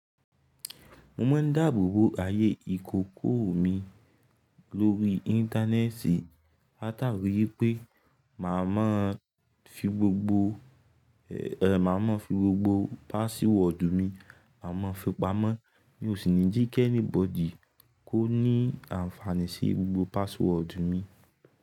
Mo mon ń dáàbòbò ayé ìkòkò mi lórí íńtánẹ́ẹ́ti látàrí wipé màá ma fi gbogbo password mi, ma à mọ fi pamọ́. Mi ò sì ní jí kẹ́níbọdí kó ní àǹfààní sí gbogbo password mi.